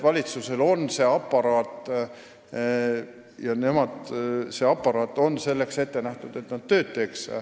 Valitsusel on aparaat, mis on ette nähtud selleks, et ta teeks tööd.